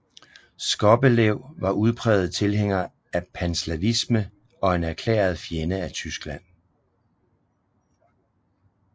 Skobelev var udpræget tilhænger af panslavisme og en erklæret fjende af Tyskland